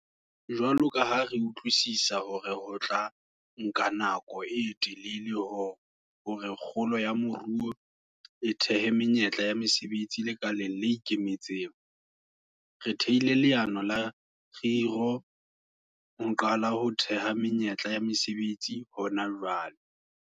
Jwalo ka ha re utlwisisa hore ho tla nka nako e telele hore kgolo ya moruo e thehe menyetla ya mesebetsi lekaleng le ikemetseng, re thehile leano la kgiro ho qala ho theha menyetla ya mesebetsi hona jwale.